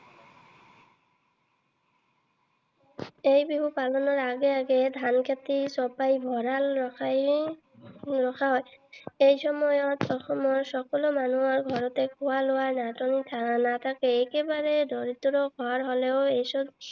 এই বিহু পালনৰ আগে আগে ধান খেতি চপাই ভঁৰালত ৰখা হয়। এই সময়ত অসমত সকলো মানুহৰ ঘৰতেই খোৱা লোৱাৰ নাটনি নাথাকে। একেবাৰে দৰিদ্ৰ ঘৰ হলেও এই সময়ত